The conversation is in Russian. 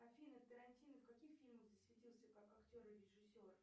афина тарантино в каких фильмах засветился как актер и режиссер